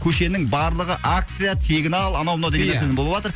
көшенің барлығы акция тегін ал анау мынау деген ия нәрселер болыватыр